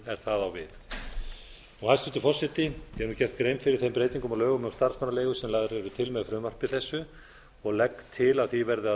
það á við hæstvirtur forseti ég hef nú gert grein fyrir þeim breytingum á lögum um starfsmannaleigur sem lagðar eru til með frumvarpi þessu og legg til að því verði að